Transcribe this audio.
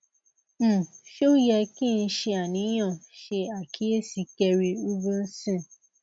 um se o ye ki n se aniyan se akiyesi kerri reubenson